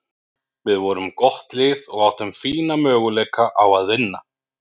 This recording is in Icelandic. Við vorum gott lið og áttum fína möguleika á að vinna.